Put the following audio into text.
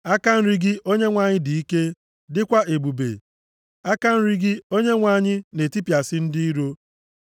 Aka nri gị Onyenwe anyị, dị ike, dịkwa ebube. Aka nri gị, Onyenwe anyị na-etipịasị ndị iro.